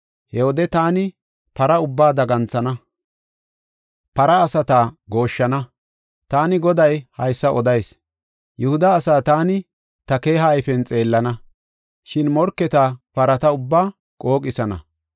He wode taani para ubbaa daganthana; para asata gooshshana.” Taani Goday haysa odayis. Yihuda asaa taani ta keeha ayfen xeellana; shin morketa parata ubbaa qooqisana.